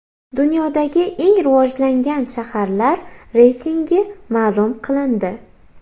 Dunyodagi eng rivojlangan shaharlar reytingi ma’lum qilindi.